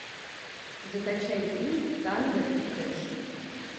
закачай фильм танго и кэш